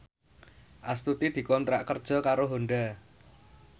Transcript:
Astuti dikontrak kerja karo Honda